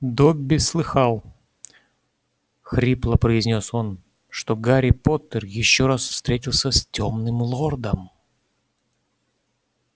добби слыхал хрипло произнёс он что гарри поттер ещё раз встретился с тёмным лордом